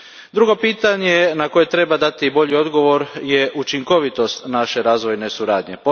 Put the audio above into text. Drugo pitanje na koje treba dati bolji odgovor je učinkovitost naše razvojne suradnje.